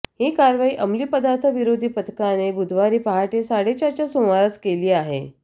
ही कारवाई अमली पदार्थ विरोधी पथकाने बुधवारी पहाटे साडेचारच्या सुमारास केली आहे